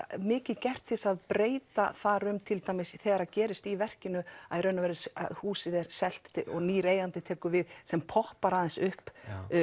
mikið gert til þess að breyta þar um til dæmis þegar gerist í verkinu að húsið er selt og nýr eigandi tekur við sem poppar aðeins upp